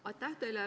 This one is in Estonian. Aitäh teile!